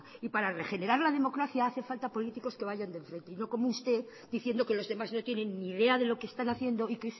y para regenerar la democracia hace falta políticos que vayan de frente y no como usted diciendo que los demás no tienen ni idea de lo que están haciendo y